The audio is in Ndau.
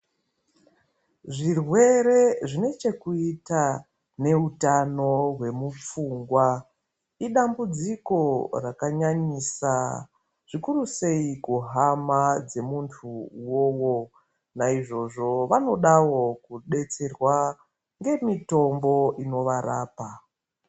Zviwere zvine chekuita neutano hwemupfungwa idambudziko rakanyanyisa zvikurusei kuhama dzemuntu uvovo. Naizvozvo vanodavo kudetserwa nemitombo inovarapa.